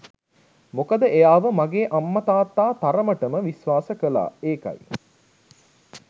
මොකද එයාව මගේ අම්ම තාත්තා තරමට විශ්වාස කළා ඒකයි.